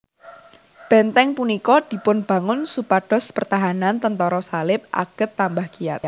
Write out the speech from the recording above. Benteng punika dipunbangun supados pertahanan tentara Salib aget tambah kiyat